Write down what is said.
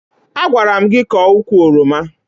Agwara m gị kọọ ukwu oroma!